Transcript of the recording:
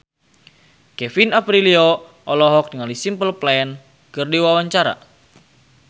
Kevin Aprilio olohok ningali Simple Plan keur diwawancara